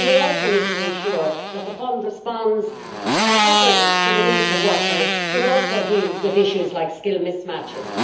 We also need to ensure that the fund responds properly to the needs of workers, but also deals with issues like skill mismatches.